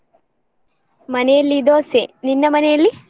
ಮನೆಯಲ್ಲಿ ದೋಸೆ. ನಿನ್ನ ಮನೆಯಲ್ಲಿ?